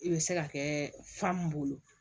I bɛ se ka kɛ fa mun bolo